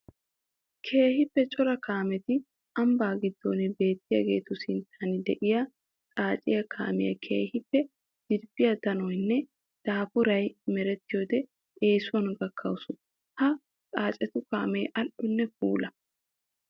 Keehippe cora kaametti ambba gidon biyaagettu sinttan de'iya xaaciya kaamiya keehippe dirbbiya danoynne daafay merettiyodde eesuwan gakawussu. Ha xaacettu kaame ali'onne puula.